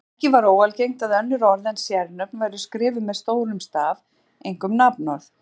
Ekki var óalgengt að önnur orð en sérnöfn væru skrifuð með stórum staf, einkum nafnorð.